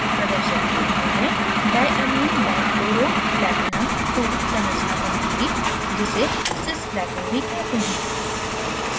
प्रदर्शन के लिए मैं diamminedichloroplatinum ii संरचना बनाऊँगी जिसे cisplatin भी कहते हैं